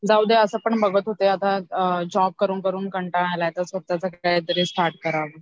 जाऊदे असं पण बघत होते जॉब करून करून कंटाळा आलाय आता स्वतःचं काहीतरी स्टार्ट करावा